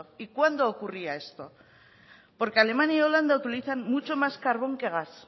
y cuándo ocurría esto porque alemania y holanda utilizan mucho más carbón que gas